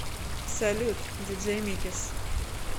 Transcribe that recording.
салют диджей микис